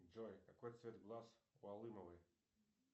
джой какой цвет глаз у алымовой